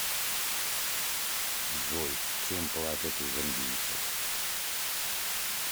джой чем платят у замбийцев